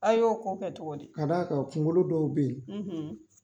A y'o kɔ kɛ cogo di ? K'a d'a kan kungolo dɔw bɛ yen,